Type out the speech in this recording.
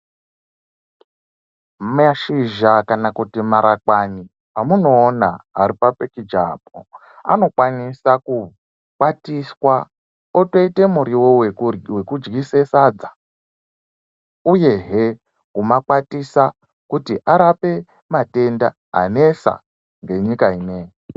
Mashizha kana kuti marakwani amunoona aripa pikicha apo anokwanisa kukwatiswa otoite muriwo wekudyise sadza uyehe kumakwatisa kuti arape matenda anesa ngenyika ineii.